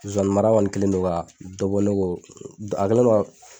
Sonsannin mara kɔni kɛlendon ka dɔ bɔ ne k'o, a kɛlɛndon ka.